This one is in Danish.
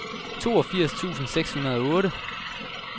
toogfirs tusind seks hundrede og otte